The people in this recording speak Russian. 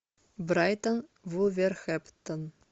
брайтон вулверхэмптон